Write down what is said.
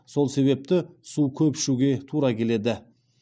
сол себепті су көп ішуге тура келеді